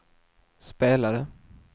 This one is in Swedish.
spelade